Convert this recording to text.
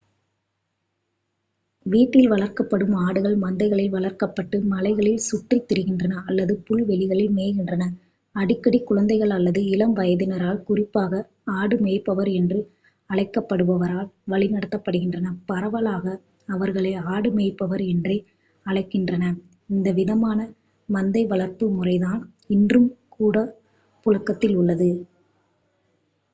வீட்டில் வளர்க்கப்படும் ஆடுகள் மந்தைகளில் வளர்க்கப்பட்டு மலைகளில் சுற்றித் திரிகின்றன அல்லது புல்வெளிகளில் மேய்கின்றன அடிக்கடி குழந்தைகள் அல்லது இளம் வயதினரால் குறிப்பாக ஆடு மேய்ப்பவர் என்று அழைக்கப்படுபவரால் வழிநடத்தப்படுகின்றன பரவலாக அவர்களை ஆடுமேய்ப்பவர் என்றே அழைக்கின்றனர் இந்த விதமான மந்தை வளர்ப்பு முறைதான் இன்றும் கூட புழக்கத்தில் உள்ளது